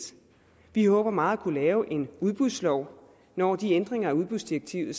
vi håber meget at kunne lave en udbudslov når de ændringer af udbudsdirektivet